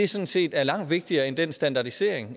sådan set er langt vigtigere end den standardisering